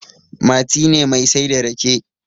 Mati ne mai saida rake